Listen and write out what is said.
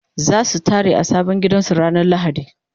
zasu tare a sabon gidan su ranar lahadi